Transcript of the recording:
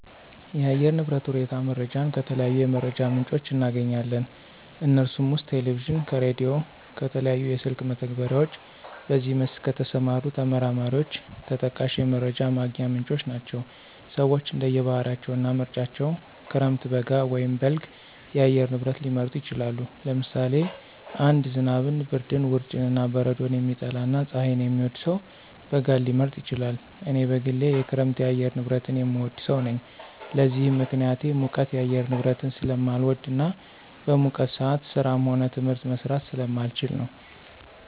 የአየር ንብረት ሁኔታ መረጃን ከተለያዩ የመረጃ ምንጮች እናገኛለን። ከነሱም ውስጥ ከቴሌቪዥን፣ ከራዲዮ፣ ከተለያዩ የስልክ መተግበሪያዎች በዚህ መስክ ከተሰማሩ ተመራማሪዎች ተጠቃሽ የመረጃ ማግኛ ምንጮች ናቸው። ሰወች እንደየ ባህሪያቸው እና ምርጫቸው ክረምት፣ በጋ ወይም በልግ የአየር ንብረት ሊመርጡ ይችላሉ። ለምሳሌ አንድ ዝናብን፣ ብርድን፣ ውርጭን ወይም በረዶን የሚጠላ እና ፀሀይን የሚወድ ሰው በጋን ሊመርጥ ይችላል። እኔ በግሌ የክረምት የአየር ንብረትን የምወድ ሰው ነኝ። ለዚህም ምክንያቴ ሙቀት የአየር ንብረትን ስለማልወድ እና በሙቀት ሰአት ስራም ሆነ ትምህርት መስራት ስለማልችል ነው።